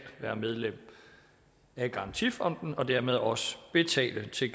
være medlem af garantifonden og dermed også betale til